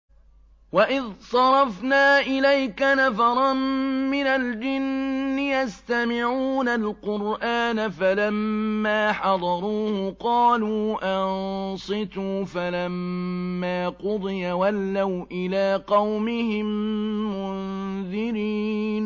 وَإِذْ صَرَفْنَا إِلَيْكَ نَفَرًا مِّنَ الْجِنِّ يَسْتَمِعُونَ الْقُرْآنَ فَلَمَّا حَضَرُوهُ قَالُوا أَنصِتُوا ۖ فَلَمَّا قُضِيَ وَلَّوْا إِلَىٰ قَوْمِهِم مُّنذِرِينَ